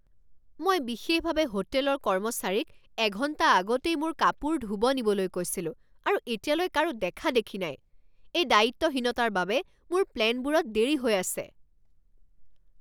মই বিশেষভাৱে হোটেলৰ কৰ্মচাৰীক এঘণ্টা আগতেই মোৰ কাপোৰ ধুব নিবলৈ কৈছিলো আৰু এতিয়ালৈ কাৰো দেখা দেখি নাই। এই দায়িত্বহীনতাৰ বাবে মোৰ প্লেনবোৰত দেৰি হৈ আছে!